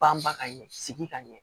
Banba ka ɲɛ sigi ka ɲɛ